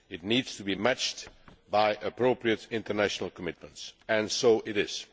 It needs to be matched by appropriate international commitments, and so it is.